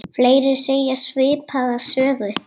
Fleiri segja svipaða sögu.